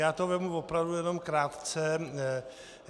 Já to vezmu opravdu jenom krátce.